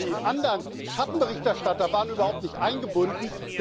Aber die anderen Schattenberichterstatter waren überhaupt nicht eingebunden.